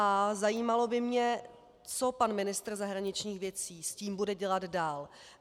A zajímalo by mě, co pan ministr zahraničních věcí s tím bude dělat dál.